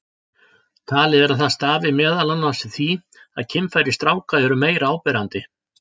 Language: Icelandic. Talið er að það stafi meðal annars af því að kynfæri stráka eru meira áberandi.